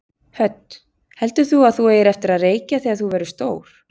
Hödd: Heldur þú að þú eigir eftir að reykja þegar þú verður stór?